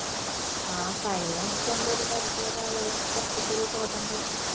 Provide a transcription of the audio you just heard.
ആ fine അടച്ചോണ്ട് ഒരു പരിധി വരെ ആളുകൾക്ക് കൊറച്ചൊക്കെ ഒരു ബോധണ്ടായർന്നു